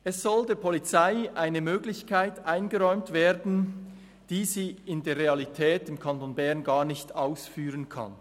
Es soll der Polizei eine Möglichkeit eingeräumt werden, die sie in der Realität im Kanton Bern gar nicht ausführen kann.